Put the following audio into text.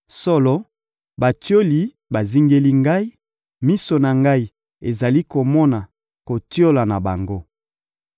Solo, batioli bazingeli ngai, miso na ngai ezali komona kotiola na bango.